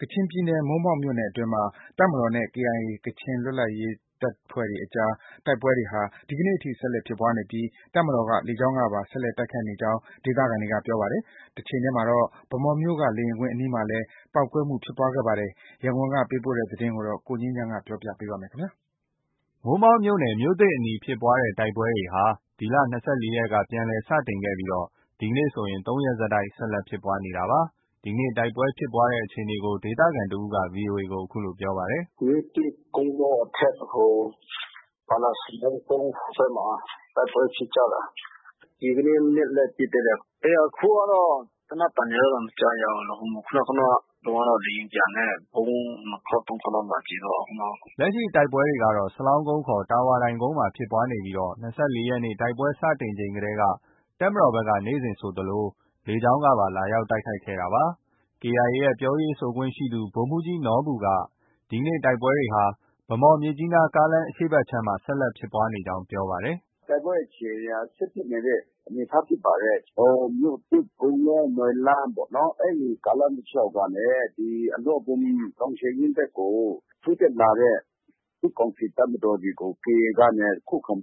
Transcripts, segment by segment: ကချင်ပြည်နယ် မိုးမောက်မြို့နယ်အတွင်းမှာ တပ်မတော်နဲ့ KIA ကချင်လွတ်လပ်ရေးတပ်ဖွဲ့အကြား တိုက်ပွဲတွေဟာ ဒီကနေ့ ထိ ဆက်လက်ဖြစ်ပွားနေပြီး တပ်မတော်က လေကြောင်းကပါ ဆက်လက်တိုက်ခိုက်နေကြောင်း ဒေသခံတွေပြောပါတယ်။ တချိန်တည်းမှာတော့ ဗန်းမော်မြို့က လေယာဉ်ကွင်းအနီးမှာလည်း ပေါက်ကွဲမှု ဖြစ်ပွားခဲ့ပါတယ်။ ရန်ကုန်က ပေးပို့တဲ့သတင်းကို ကိုငြိမ်းချမ်းပြောပြပါမယ်။ မိုးမောက်မြို့နယ် မြို့သစ်အနီးဖြစ်ပွားတဲ့ တိုက်ပွဲတွေဟာ ဒီလ ၂၄ရက်နေ့ ပြန်လည်စတင်ခဲ့ပြီး ဒီနေ့ ဆိုရင် ၃ရက်ဆက်တိုက် ဆက်လက်ဖြစ်ပွားနေတာပါ။ ဒီကနေ့ တိုက်ပွဲဖြစ်ပွားတဲ့အခြေအနေကို ဒေသခံတစ်ဦးက VOA ကို အခုလို ပြောပါတယ်။ “ မြို့သစ်၊ ကုန်းလော အထက်ဖက်။ ဘာလဲ စလောင်းကုန်းဟိုဖက်မှာ တိုက်ပွဲဖြစ်ကြတာ။ ဒီကနေ့ မနက်လည်း ပစ်သေးတယ်။ အခုကတော့ သေနတ်သံတွေကတော့ မကြားရဘူး။ ခုနတုံးကတော့ လေယာဉ်ပျံနဲ့ ဗုံး ၂ခေါက်၊ ၃ခေါက်လောက်လာကြဲသွားတာ။ ခုနက။ ” လက်ရှိဖြစ်ပွားနေတဲ့ စလောင်းကုန်းခေါ် တာဝါတိုင်ကုန်းမှာဖြစ်ပွားနေပြီး ၂၄ရက်နေ့ တိုက်ပွဲစတင်ချိန်တည်းက တပ်မတော်ဘက်က နေ့စဉ်ဆိုသလို လေကြောင်းကပါ လာရောက်တိုက်ခိုက်ခဲ့တာလည်းဖြစ်ပါတယ်။ KIA ရဲ့ ပြောရေးဆိုခွင့် ရှိသူ ဗိုလ်မှုးကြီးနော်ဘူက ဒီကနေ့ တိုက်ပွဲတွေဟာ ဗန်းမော် - မြစ်ကြီးနား ကားလမ်းအရှေ့ဘက်ခြမ်းမှာ ဆက်လက်ဖြစ်ပွားနေကြောင်း ပြောပါတယ်။ “ တိုက်ပွဲအခြေအနေက ဆက်ဖြစ်နေတဲ့ အနေအထားဖြစ်ပါတယ်။ ဟို မြို့သစ်၊ ကုန်းလော၊ နွမ်းလန်းပေါ့ အဲဒီ ကားလမ်း တလျှောက်ကနေ ဒီအလော့ဘွမ်တောင်ခြေရင်းဘက်ကို ထိုးတက်လာတဲ့ စစ်ကောင်စီ တပ်မတော်တွေကို KIA ကနေ ခုခံ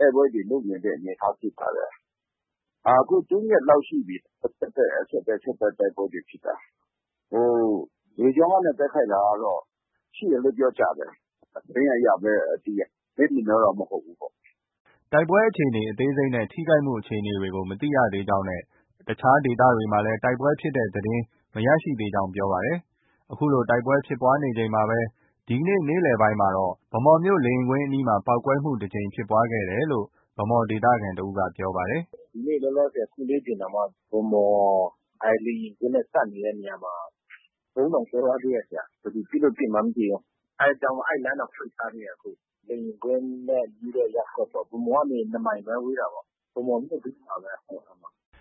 တိုက်ပွဲတွေ လုပ်နေတဲ့ အနေအထားဖြစ်ပါတယ်။အခု ၃ရက်လောက်ရှိပြီ ဆက်တိုက် ဆက်တိုက် တိုက်ပွဲတွေဖြစ်တာ။ လေကြောင်းကနေ တိုက်ခိုက်တာကတော့ ရှိတယ်လို့ ပြောကြတယ်။ သတင်းအရပဲ သိရတယ်။ မျက်မြင်တော့ မဟုတ်ဘူးပေါ့။” တိုက်ပွဲအခြေအနေ အသေးစိတ်နဲ့ ထိခိုက်မှုအခြေအနေကို မသိရသေးကြောင်းနဲ့ အခြားဒေသတွေမှာ တိုက်ပွဲဖြစ်တဲ့သတင်းလည်း မရရှိသေးကြောင်း ပြောပါတယ်။ ဒီလိုတိုက်ပွဲဖြစ်ပွားနေချိန်မှာပဲ ဒီနေ့ နေ့ခင်းပိုင်းက ဗန်းမော်မြို့ လေယာဉ်ကွင်းအနီးမှာလည်း ပေါက်ကွဲမှု တစ်ကြိမ်ဖြစ်ပွားခဲ့တယ်လို့ ဗန်းမော်မြို့ခံတစ်ဦးက ပြောပါတယ်။ “ ဒီနေ့ လောလောဆည် အခုလေးတင်တောင်မှ ဗန်းမော် လေယာဉ်ကွင်းနဲ့ ကပ်နေတဲ့နေရာမှာ ဗုံးတောင်ကွဲသွားသေးတယ်။ ဘယ်သူပစ်လို့ ပစ်မှန်းမသိဘူး။ အဲဒါကြောင့် အဲဒီလမ်းတောင် ပိတ်ထားသေးတယ် အခု။ လေယာဉ်ကွင်းနဲ့ နီးတဲ့ ရပ်ကွက်ပေါ့။ ဗန်းမော်ကနေ ၂မိုင်ပဲ ဝေးတာ ဗန်းမော်မြို့တွင်းမှာပဲ။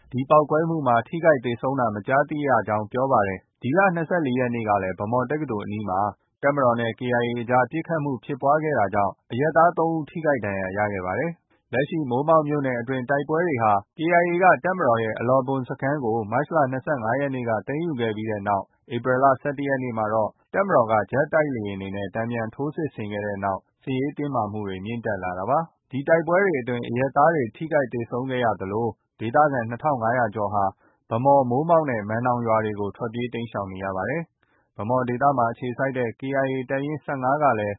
” ဒီပေါက်ကွဲမှုမှာ ထိခိုက်သေဆုံးတာ မကြားသိရကြောင်း ပြောပါတယ်။ ဒီလ ၂၄ရက်နေ့ကလည်း ဗန်းမော် တက္ကသိုလ်အနီးမှာ တပ်မတော်နဲ့ KIA အကြား ပစ်ခတ်မှုဖြစ်ပွားခဲ့တာ ကြောင့် အရပ်သား ၃ယောက် ထိခိုက်ဒဏ်ရာရခဲ့ပါတယ်။ လက်ရှိ မိုးမောက်မြို့နယ် အတွင်းတိုက်ပွဲတွေဟာ KIA က တပ်မတော်ရဲ့ အလောဘွမ်တပ်စခန်းကို မတ်လ ၂၅ရက်နေ့က သိမ်းယူခဲ့ပြီး ဧပြီလ ၁၁ရက်မှာတော့ တပ်မတော်က ဂျက်တိုက်လေယာဉ်တွေနဲ့ တန်ပြန်ထိုးစစ်ဆင်ခဲ့တဲ့နောက် စစ်ရေးတင်းမာမှုတွေ မြင့်တက်လာတာပါ။ ဒီတိုက်ပွဲတွေအတွင်းမှာ အရပ်သား ထိခိုက်သေဆုံးတာတွေဖြစ်ခဲ့တဲ့နောက် ဒေသခံ ၂၅၀၀ကျော်ဟာ ဗန်းမော်၊ မိုးမောက်နဲ့ မန်နောင်ရွာတွေကို ထွက်ပြေးတိမ်းရှောင်နေရပါတယ်။ ဗန်းမော်ဒေသမှာ အခြေစိုက်တဲ့ KIA တပ်ရင်း ၁၅ကလည်း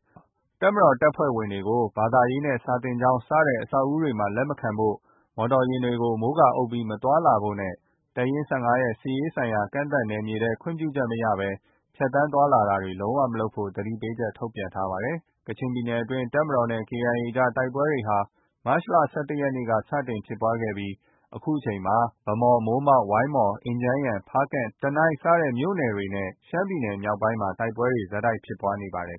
တပ်မတော် တပ်ဖွဲ့တွေကို ဘာသာရေးနဲ့ စာသင်ကျောင်း စတဲ့အဆောက်အဦးတွေမှာ လက်မခံဖို့၊ မော်တော်ယာဉ်တွေကို မိုးကာအုပ်ပြီး မသွားလာဖို့နဲ့ တပ်ရင်း၁၅ရဲ့ စစ်ရေးဆိုင်ရာကန့်သတ်နယ်မြေထဲကို ခွင့်ပြုချက်မရဘဲ ဖြတ်သန်းသွားလာတာ လုံး၀ မလုပ်ဖို့ သတိပေးချက် ထုတ်ပြန်ထားပါတယ်။ ကချင်ပြည်နယ်အတွင်း တပ်မတော်နဲ့ KIA အကြား တိုက်ပွဲတွေဟာ မတ်လ ၁၁ရက်နေ့က စတင်ဖြစ်ပွားခဲ့ပြီး အခုအချိန်မှာ ဗန်းမော်၊ မိုးမောက်၊ ဝိုင်းမော်၊ အင်ဂျန်းယန်၊ ဖားကန့်၊ တနိုင်းစတဲ့မြို့နယ်တွေနဲ့ ရှမ်းပြည်နယ် မြောက်ပိုင်းမှာ တိုက်ပွဲတွေ ဆက်တိုက် ဖြစ်ပွားနေပါတယ်